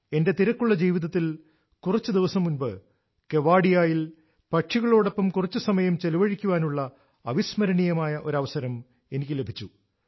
എന്റെ തിരക്കുള്ള ജീവിതത്തിൽ കുറച്ചു ദിവസം മുന്പ് കെവാഡിയയിൽ പക്ഷികളോടൊപ്പംകുറച്ചു സമയം ചെലവഴിക്കാനുള്ള അവിസ്മരണീയമായ ഒരു അവസരം എനിക്ക് ലഭിച്ചു